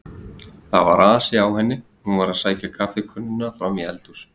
Það var asi á henni, hún var að sækja kaffikönnuna fram í eldhús.